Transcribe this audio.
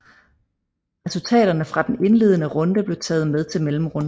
Resultaterne fra den indledende runde blev taget med til mellemrunden